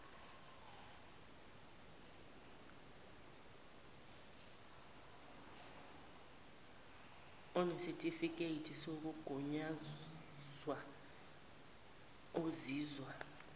onesitifiketi sokugunyazwa ozizwa